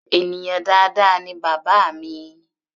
Ènìyàn dáadáa ni bàbá mi.